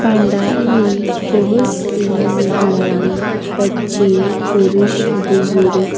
पंडाल में बहुत सी महिलाएं बच्चे पुरुष --